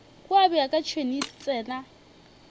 kua bjaka tšhwene e tsena